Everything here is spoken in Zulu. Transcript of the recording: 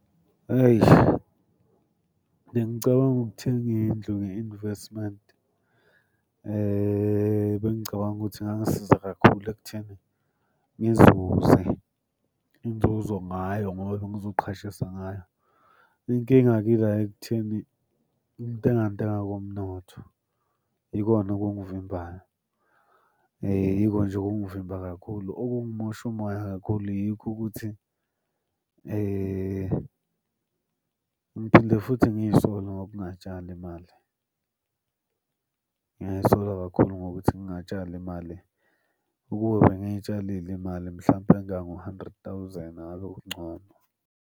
Eish, bengicabanga ukuthenga indlu nge-investment. Bengicabanga ukuthi kungangisiza kakhulu ekutheni ngizuze inzuzo ngayo ngoba bengizoqhashisa ngayo. Inkinga-ke ila ekutheni ukuntenga ntenga komnotho yikona okungivimbayo. Yiko nje okungivimba kakhulu, okungimosha umoya kakhulu yikho ukuthi ngiphinde futhi ngiy'sole ngokungatshali imali. Ngiyay'sola kakhulu ngokuthi ngingatshali imali. Ukube bengitshalile imali mhlampe engango-hundred thousand ngabe kungcono.